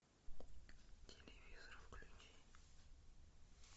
телевизор включи